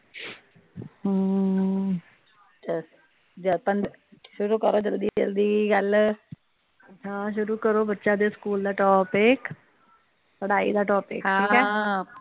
ਹਮ ਸ਼ੁਰੂ ਕਰੋ ਜਲਦੀ ਜਲਦੀ ਗੱਲ ਹਾਂ ਸ਼ੁਰੂ ਕਰੋ ਬੱਚਿਆਂ ਦੇ ਸਕੂਲ ਦਾ ਟੌਪਿਕ ਪੜ੍ਹਾਈ ਦਾ ਟੌਪਿਕ ਹਾਂ